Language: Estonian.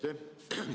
Aitäh!